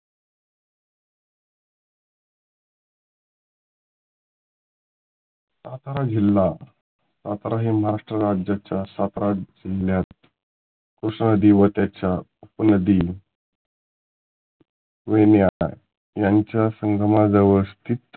सातारा जिल्हा सातारा हे महाराष्ट्र राज्याच्या सातारा जिल्ह्यात कृष्णा नदी व त्याच्या उप नदी वयनीया यांच्या संगमा जवळ स्थित